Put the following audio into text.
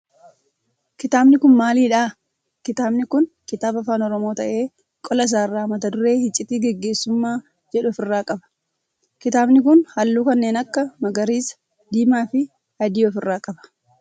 Kitaabni kun maalidhaa? Kitaabni kun kitaaba afaan oromoo ta'ee qola isaa irraa mata duree iccitii geggeessummaa jedhu of irraa qaba. Kitaabni kun halluu kanneen akka magariisa diimaa fi adii of irraa qaba.